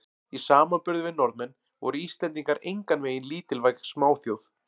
Í samanburði við Norðmenn voru Íslendingar engan veginn lítilvæg smáþjóð.